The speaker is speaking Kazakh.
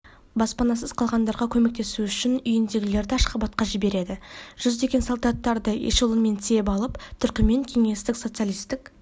баспанасыз қалғандарға көмектесу үшін үйінділерді ашхабадқа жібереді жүздеген солдаттарды эшелонмен тиеп алып түрікмен кеңестік социалистік